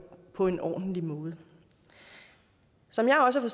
på en ordentlig måde som jeg også har